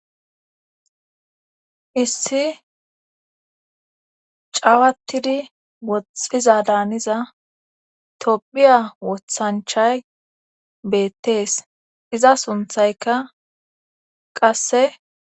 issi cawatidi woxxiza daaniza tophiya wothanchay beettees iza sunthayka qasse